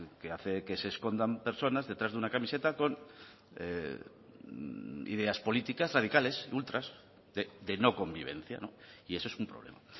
que hace que se escondan personas detrás de una camiseta con ideas políticas radicales ultras de no convivencia y eso es un problema